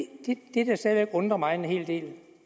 det der stadig væk undrer mig en hel del